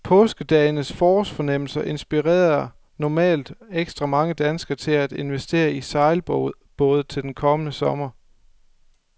Påskedagenes forårsfornemmelser inspirerer normalt ekstra mange danskere til at investere i sejlbåde til den kommende sommer.